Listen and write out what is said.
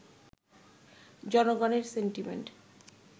জনগণের সেন্টিমেন্ট